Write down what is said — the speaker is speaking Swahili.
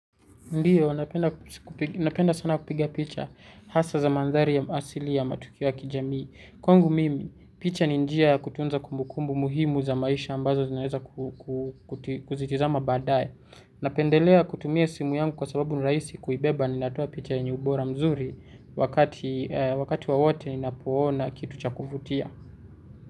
Ndio, napenda sana kupiga picha hasa za mandhari ya asili ya matukio ya kijamii. Kwangu mimi, picha ni njia ya kutunza kumbukumbu muhimu za maisha ambazo zinaeza kuzitizama baadaye. Napendelea kutumia simu yangu kwa sababu nirahisi kuibeba ni natoa picha yenye ubora mzuri wakati wakati wowote ninapoona kitu cha kuvutia.